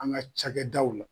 An ga cakɛdaw la